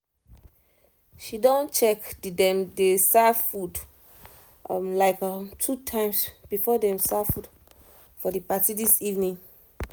she don check the dem dey serve food like two times before them serve food for the party this evening